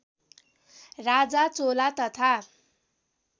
राजा चोला तथा